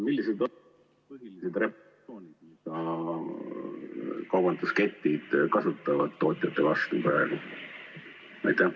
Millised on põhilised repressioonid, mida kaubandusketid praegu tootjate kasutavad?